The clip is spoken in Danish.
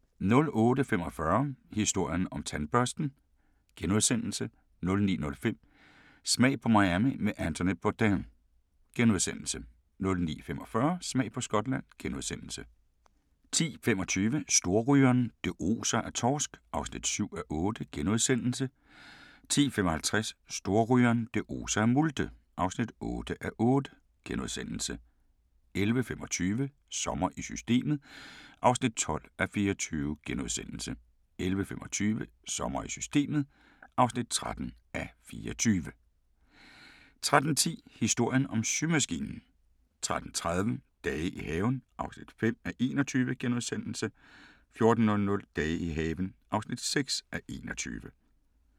08:45: Historien om tandbørsten * 09:05: Smag på Miami med Anthony Bourdain * 09:45: Smag på Skotland * 10:25: Storrygeren – det oser af torsk (7:8)* 10:55: Storrygeren – det oser af multe (8:8)* 11:25: Sommer i Systemet (12:24)* 11:55: Sommer i Systemet (13:24) 13:10: Historien om symaskinen 13:30: Dage i haven (5:21)* 14:00: Dage i haven (6:21)